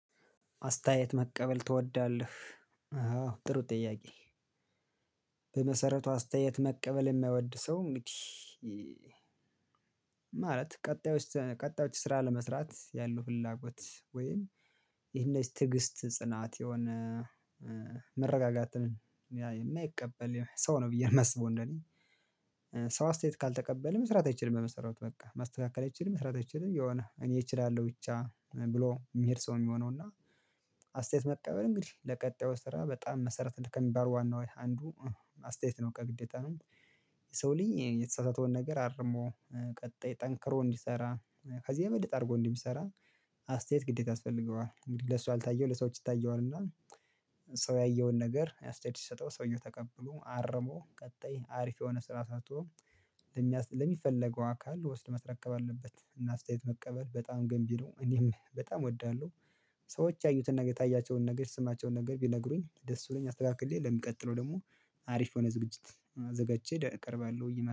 አስተያየት መቀበል ትወዳለህ? ጥሩ ጥያቄ በመሰረቱ አስተያየት መቀበል የሚወድ ሰው እንግዲህ ማለት ቀጣዮች ቀጣዮች ስራ ለመስራት ያለው ፍላጎት ወይም ይሄን የትግስት ጽናት የሆነ መረጋጋትን የማይቀበል ሰው ነው ብዬ የማስበው እንደኔ ሰው አስተያየት ካልተቀበልን መስራት አይችልም በመሰሩት በቃ ማስተካከል አይችልም መስራት አይችልም የሆነ እኔ እችላለሁ ብቻ ብሎ የሚሄድ ሰው የሚሆነው እና አስተያየት መቀበል እንግዲህ ለቀጣዩ ስራ በጣም መሰረት ከሚባሉ ዋና ወይ አንዱ አስተያየት ነው ከግዴታ ነው። ሰው ልጅ የተሳሳተውን ነገር አርሞ ቀጣይ ጠንክሮ እንዲሰራ ከዚህ የበለጥ አድርጎ እንዲሰራ አስተያየት ግዴታ ያስፈልገዋል እንግዲህ ለሱ ያልታየው ለሰዎች ይታየዋል እና ሰው ያየውን ነገር አስተያየት ሲሰጠው ሰውየው ተቀብሎ አርሞ ቀጣይ አሪፍ የሆነ ስራ ሰርቶ ለሚፈለገው አካል ወስዶ ማስረከብ አለበት እና አስተያየት መቀበል በጣም ገንቢ ነው። እኔም በጣም እወዳለሁ። ሰዎች ያዩትን ነገር የታያቸውን ነገር ስማቸውን ነገር ቢነግሩኝ ደስ ብሎኝ አስተካክዬ ለሚቀጥለው ደግሞ አሪፍ የሆነ ዝግጅት አዘጋጅቼ እቀርባለሁ